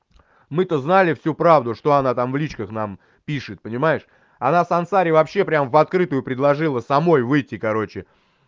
мы то знали всю правду что она там в личках нам пишет понимаешь она сансаре вообще прямо в открытую предложила самой выйти короче